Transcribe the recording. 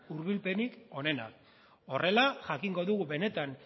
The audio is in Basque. hurbilpenik onena horrela jakingo dugu benetan